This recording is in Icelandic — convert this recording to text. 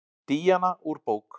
Díana úr bók.